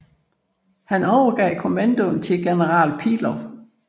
Han overgav kommandoen til general Pillow